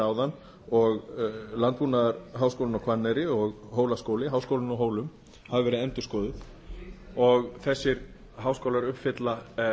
áðan og landbúnaðarháskólinn á hvanneyri og hólaskóli háskólinn á hólum hafa verið endurskoðuð og þessir háskóla uppfylla